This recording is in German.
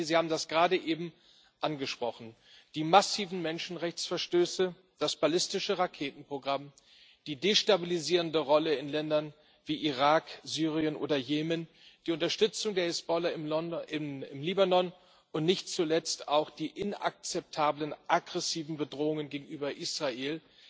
Frau Mogherini, Sie haben das gerade eben angesprochen Die massiven Menschenrechtsverstöße, das ballistische Raketenprogramm, die destabilisierende Rolle in Ländern wie Irak, Syrien oder Jemen, die Unterstützung der Hisbollah im Libanon und nicht zuletzt auch die aggressiven Bedrohungen gegenüber Israel